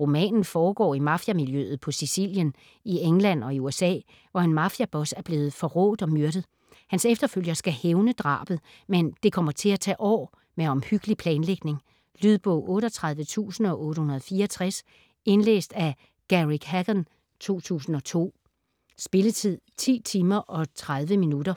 Romanen foregår i mafiamiljøet på Sicilien, i England og i USA, hvor en mafiaboss er blevet forrådt og myrdet. Hans efterfølger skal hævne drabet, men det kommer til at tage år med omhyggelig planlægning. Lydbog 38864 Indlæst af Garrick Hagon, 2002. Spilletid: 10 timer, 30 minutter.